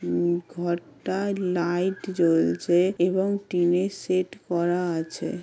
উম ঘরটায় লাইট জ্বলছে এবং টিনের শেড করা আছে।